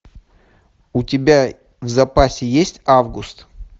у тебя в запасе есть август